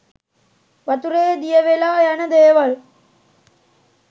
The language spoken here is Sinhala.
වතුරේ දිය වෙලා යන දේවල්